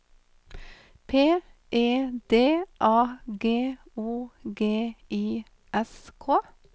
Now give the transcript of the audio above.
P E D A G O G I S K